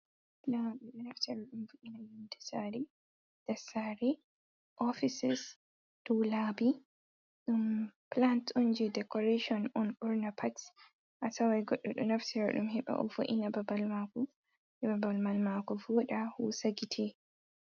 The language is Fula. Labi do naftara dum vo'ina ydsari dasari offices do labi dum plant on je decoration on ornapaxs a tawai goddo do naftara dum heba o vo’ina babal mako je babal mal mako voda husagite.